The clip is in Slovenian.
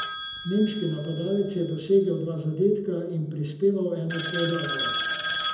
Nemški napadalec je dosegel dva zadetka in prispeval eno podajo.